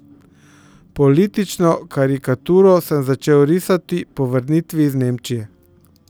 Politično karikaturo sem začel risati po vrnitvi iz Nemčije.